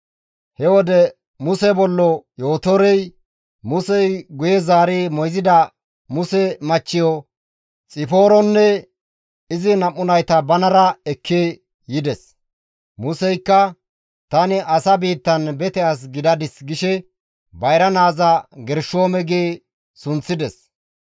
He wode Muse bollo Yootorey, Musey guye zaari moyzida Muse machcheyo Xipooronne izi nam7u nayta banara ekki yides. Museykka, «Tani asa biittan bete as gidadis» gishe bayra naaza Gershoome gi sunththides.